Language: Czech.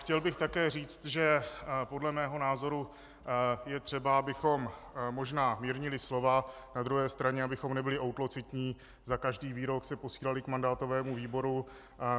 Chtěl bych také říct, že podle mého názoru je třeba, abychom možná mírnili slova, na druhé straně, abychom nebyli útlocitní, za každý výrok se posílali k mandátovému výboru.